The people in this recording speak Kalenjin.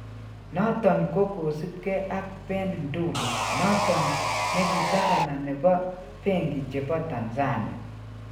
Noton ko kosipke ag Ben Ndulu noton negi gavana nepo benki chepo Tanzania.